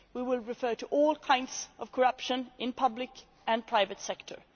We will refer to all kinds of corruption in the public and private sector.